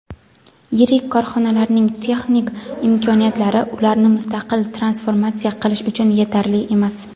yirik korxonalarning texnik imkoniyatlari ularni mustaqil transformatsiya qilish uchun yetarli emas.